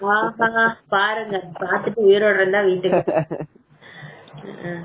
பாருங்க பாத்துட்டு உயிரோட இருந்தா வீட்டுக்கு வாங்க